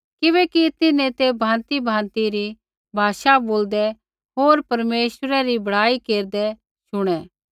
किबैकि तिन्हैं ते भाँतिभाँति री भाषा बोलदै होर परमेश्वरै री बड़ाई केरदै शुणै